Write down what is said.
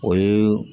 O ye